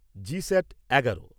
GSAT এগারো